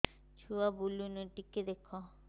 ଛୁଆ ବୁଲୁନି ଟିକେ ଦେଖ